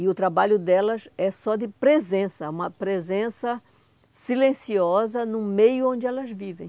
E o trabalho delas é só de presença, uma presença silenciosa no meio onde elas vivem.